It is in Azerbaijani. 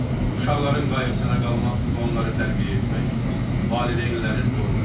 Uşaqların qayğısına qalmaq və onları tərbiyə etmək valideynlərin borcudur.